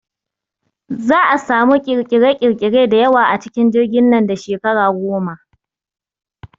Za'a samu ƙirƙire ƙirƙire da yawa a cikin jirgin nan da shekara goma